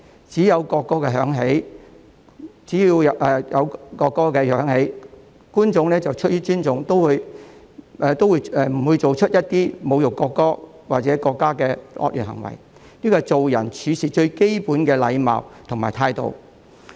只要國歌響起，觀眾出於尊重，不會做出一些侮辱國歌或國家的惡劣行為，這是做人處事最基本的禮貌和態度。